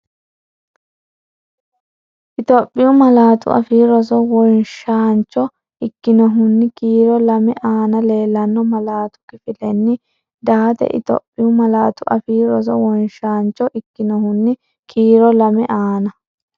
Itophiyu Malaatu Afii Roso wonshaancho ikkinohunni kiiro”2” aana leellanno malatu kifilenni date Itophiyu Malaatu Afii Roso wonshaancho ikkinohunni kiiro”2” aana.